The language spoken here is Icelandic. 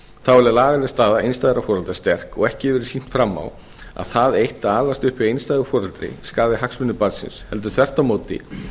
þá er lagaleg staða einstæðra foreldra sterk og ekki hefur verið sýnt fram á að það eitt að alast upp hjá einstæðu foreldri skaði hagsmuni barnsins heldur þvert á móti